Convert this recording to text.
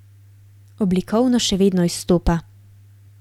Oblikovno še vedno izstopa.